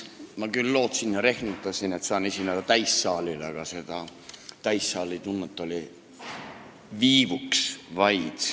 Ma küll lootsin ja rehkendasin, et saan esineda täissaalile, aga seda täissaali tunnet oli vaid viivuks.